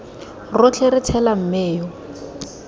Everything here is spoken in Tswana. rotlhe re tshela mme yo